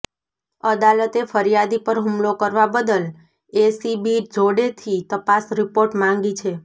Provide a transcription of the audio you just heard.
અદાલતે ફરિયાદી પર હુમલો કરવા બદલ એસીબી જોડેથી તપાસ રિપોર્ટ માંગી છે